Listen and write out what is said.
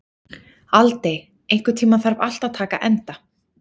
Aldey, einhvern tímann þarf allt að taka enda.